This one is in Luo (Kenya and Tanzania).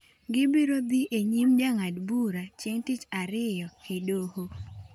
Gibiro dhi e nyim jang'ad bura chieng’ tich ariyo e doho.